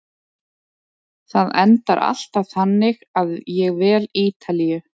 Það endar alltaf þannig að ég vel Ítalíu.